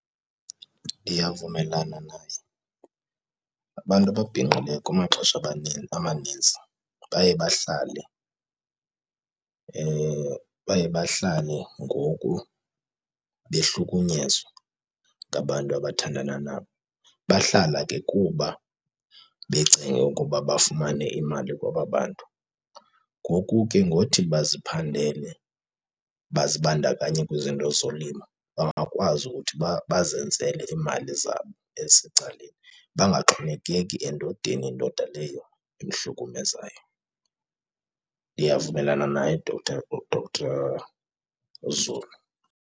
Ndiyavumelana naye. Abantu ababhinqileyo kumaxesha amaninzi baye bahlale, baye bahlale ngoku behlukunyezwa ngabantu abathandana nabo. Bahlala ke kuba becenge ukuba bafumane imali kwaba bantu. Ngoku ke ngothi baziphandele, bazibandakanye kwizinto zolimo bangakwazi ukuthi bazenzele iimali zabo ezisecaleni bangaxhomekeki endodeni, ndoda leyo imhlukumezayo. Ndiyavumelana naye uDr, uDr uZulu.